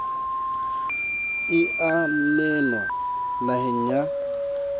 e a nenwa naheng ya